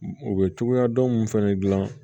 U bɛ cogoya dɔn mun fɛnɛ dilan